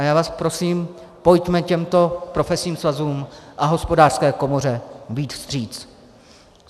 A já vás prosím, pojďme těmto profesním svazům a Hospodářské komoře vyjít vstříc.